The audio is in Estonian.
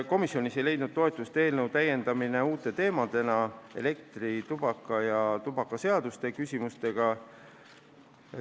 Komisjonis ei leidnud toetust eelnõu täiendamine uute teemadena elektri- ja tubakaaktsiisi ja tubakaseaduse küsimustega.